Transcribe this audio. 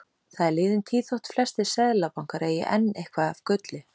Það er liðin tíð þótt flestir seðlabankar eigi enn eitthvað af gulli.